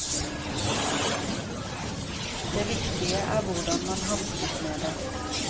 Det viktige er hvordan man hanskes med det.